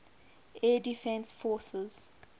air defense forces